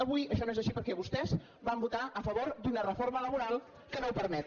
avui això no és així perquè vostès van votar a favor d’una reforma laboral que no ho permet